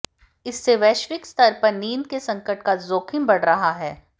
इससे वैश्विक स्तर पर नींद के संकट का जोखिम बढ़ रहा है